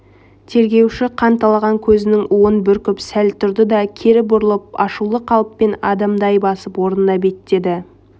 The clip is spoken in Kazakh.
тергеуші қанталаған көзінің уын бүркіп сәл тұрды да кері бұрылып ашулы қалыппен адымдай басып орнына беттеді